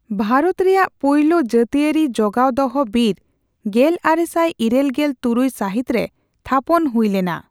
ᱵᱷᱟᱨᱚᱛ ᱨᱮᱭᱟᱜ ᱯᱩᱭᱞᱩ ᱡᱟᱹᱛᱤᱭᱟᱹᱨᱤ ᱡᱚᱜᱟᱣ ᱫᱚᱦᱚ ᱵᱤᱨ ᱜᱮᱞᱟᱨᱮᱥᱟᱭ ᱤᱨᱟᱹᱞᱜᱮᱞ ᱛᱩᱨᱩᱭ ᱥᱟᱹᱦᱤᱛᱨᱮ ᱛᱷᱟᱯᱚᱱ ᱦᱩᱭᱞᱮᱱᱟ ᱾